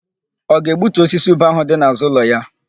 Ọ ga-egbutu osisi ube áhụ̀ dị n'àzụ́ ụlọ ya?